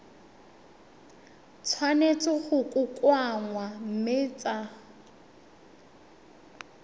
tshwanetse go kokoanngwa mme tsa